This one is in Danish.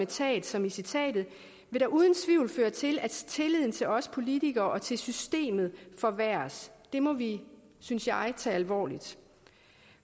tab som i citatet vil uden tvivl føre til at tilliden til os politikere og til systemet forværres det må vi synes jeg tage alvorligt